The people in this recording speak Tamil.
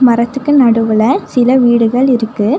மரத்துக்கு நடுவுல சில வீடுகள் இருக்கு.